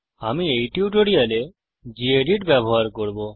আমি এই টিউটোরিয়ালে গেদিত ব্যবহার করব